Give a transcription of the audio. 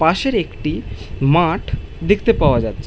পাশের একটি মাঠ দেখতে পাওয়া যাচ্ছে ।